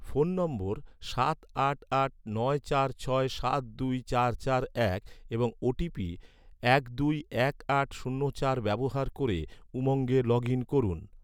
phone নম্বর সাত আট আট নয় চার ছয় সাত দুই চার চার এবং ওটিপি এক দুই এক আট শূন্য চার ব্যবহার ক’রে, উমঙ্গে লগ ইন করুন